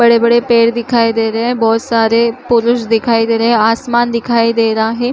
बड़े- बड़े पेड़ दिखाई दे रहे है बहुत सारे पुरुष दिखाई दे रहे है आसमान दिखाई दे रहा है।